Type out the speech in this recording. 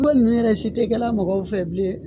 Ko ninnu yɛrɛ si tɛ kɛ la mɔgɔw fɛ bilen.